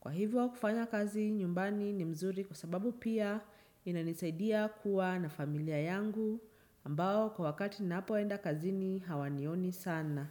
Kwa hivyo kufanya kazi nyumbani ni mzuri kwa sababu pia inanisaidia kuwa na familia yangu ambao kwa wakati napoenda kazi hawanioni sana.